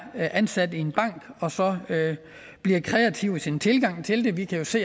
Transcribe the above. ansat i en bank og så bliver kreativ i sin tilgang til det vi kan jo se